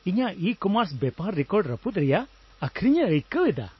ᱤᱧᱟᱹᱜ ᱤᱼᱠᱚᱢᱟᱨᱥ ᱵᱮᱯᱟᱨ ᱨᱮᱠᱚᱨᱰᱼ ᱨᱟᱹᱯᱩᱫ ᱨᱮᱭᱟᱜ ᱟᱹᱠᱷᱨᱤᱧᱮ ᱟᱹᱭᱠᱟᱹᱣ ᱮᱫᱟ ᱾